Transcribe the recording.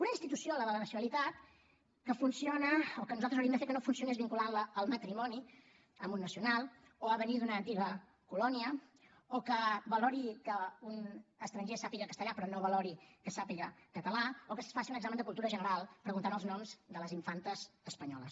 una institució la de la nacionalitat que funciona o que nosaltres hauríem de fer que no funcionés vinculantla al matrimoni amb un nacional o a venir d’una antiga colònia o que valori que un estranger sàpiga castellà però no valori que sàpiga català o que es faci un examen de cultura general preguntant els noms de les infantes espanyoles